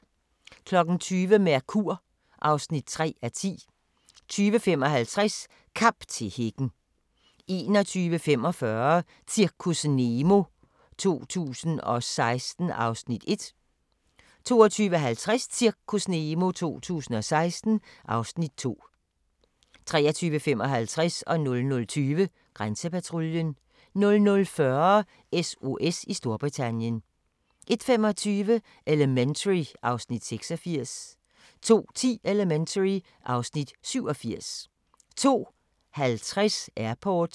20:00: Mercur (3:10) 20:55: Kamp til hækken 21:45: Zirkus Nemo 2016 (Afs. 1) 22:50: Zirkus Nemo 2016 (Afs. 2) 23:55: Grænsepatruljen 00:20: Grænsepatruljen 00:40: SOS i Storbritannien 01:25: Elementary (Afs. 86) 02:10: Elementary (Afs. 87) 02:50: Airport